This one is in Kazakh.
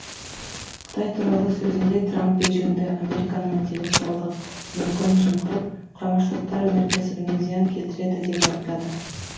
қытай туралы сөзінде трамп бейжіңді американың интеллектуалдық мүлкін жымқырып құрама штаттар өнеркәсібіне зиян келтірді деп айыптады